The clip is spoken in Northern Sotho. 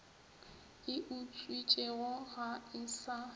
e utswitšwe ga e sa